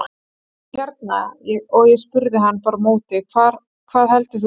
Og hérna, og ég spurði hann bara á móti, hvað heldur þú?